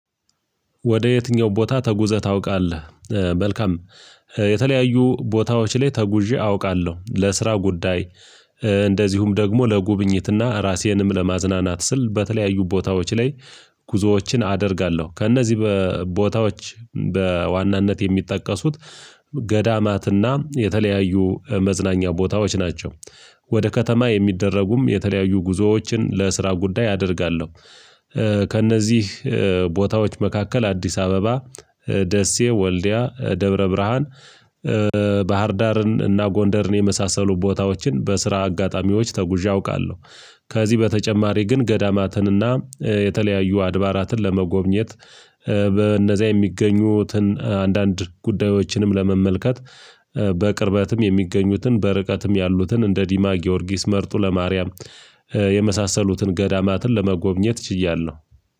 ወደ የትኛው ቦታ ተጉዘህ ታውቃለህ? መልካም የተለያዩ ቦታዎች ላይ ተጉዤ አውቃለሁ ለስራ ጉዳይ። እንደዚሁም ደግሞ ለጉብኝትና ራሴንም ለማዝናናት ስል በተለያዩ ቦታዎች ላይ ጉዞዎችን አደርጋለሁ ከእነዚህ በ ቦታዎች በዋናነት የሚጠቀሱት ገዳማትና የተለያዩ መዝናኛ ቦታዎች ናቸው። ወደ ከተማ የሚደረጉም የተለያዩ ጉዞዎችን ለስራ ጉዳይ አደርጋለሁ። ከእነዚህ ቦታዎች መካከል አዲስ አበባ ደሴ ወልዲያ ደብረ ብርሃን ባህርዳርን እና ጎንደርን የመሳሰሉ ቦታዎችን በስራ አጋጣሚዎች ተጉዤ አውቃለሁ። ከዚህ በተጨማሪ ግን ገዳማትን እና የተለያዩ አድባራትን ለመጎብኘት በእነዚያ የሚገኙትን አንዳንድ ጉዳዮችንም ለመመልከት በቅርበትም የሚገኙትን በርቀትም ያሉትን እንደ ዲማ ጊዮርጊስ መርጦለ ማርያም የመሳሰሉትን ገዳማትን ለመጎብኘት ችያለሁ።